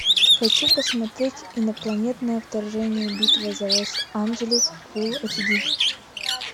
хочу посмотреть инопланетное вторжение битва за лос анджелес фул аш ди